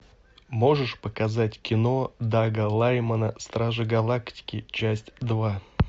можешь показать кино дага лаймона стражи галактики часть лва